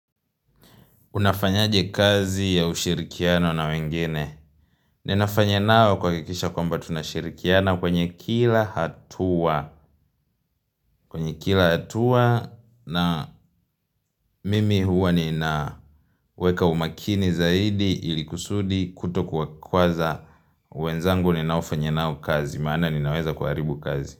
Unafanyaje kazi ya ushirikiano na wengine? Ninafanya nao kuhakikisha kwamba tunashirikiana kwenye kila hatua. Kwenye kila hatua na mimi huwa ninaweka umakini zaidi ilikusudi kutokuakwaza. Wenzangu ninaofanya nao kazi, maana ninaweza kuharibu kazi.